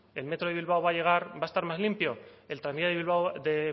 el metro de bilbao va a llegar va a estar más limpio el tranvía de